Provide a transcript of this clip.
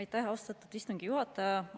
Aitäh, austatud istungi juhataja!